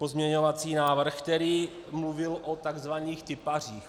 Pozměňovací návrh, který mluvil o tzv. tipařích.